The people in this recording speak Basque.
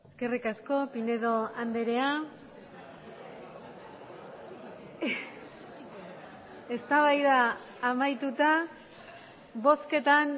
eskerrik asko pinedo andrea eztabaida amaituta bozketan